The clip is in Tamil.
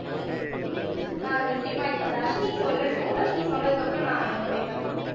ஆஹ் நிச்சயமா இப்ப தர்ஷினி சொல்லட்டும் தர்ஷினி சொன்னதுக்கு அப்புறம் நான் என்னுடைய கருத்து என்ன